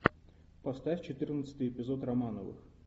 поставь четырнадцатый эпизод романовых